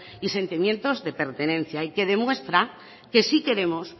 y sentimientos de pertenencia y que demuestra que si queremos